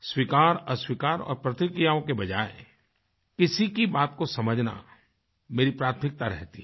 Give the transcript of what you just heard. स्वीकारअस्वीकार और प्रतिक्रियाओं की बजाय किसी की बात को समझना मेरी प्राथमिकता रहती है